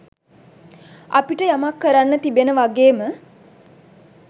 අපිට යමක් කරන්න තිබෙන වගේම